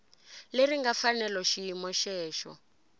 leri nga fanela xiyimo xexo